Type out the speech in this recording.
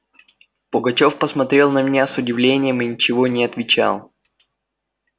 пугачёв посмотрел на меня с удивлением и ничего не отвечал